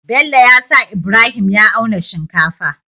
Bello yasa ibrahim ya auna shinkafa